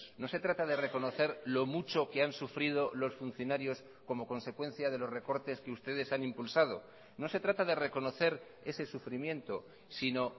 no se trata de reconocer lo mucho que han sufrido los funcionarios como consecuencia de los recortes que ustedes han impulsado no se trata de reconocer ese sufrimiento sino